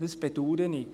Dies bedaure ich.